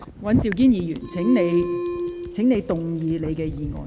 尹兆堅議員，請動議你的議案。